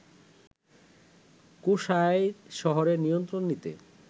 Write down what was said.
কুশাইর শহরের নিয়ন্ত্রণ নিতে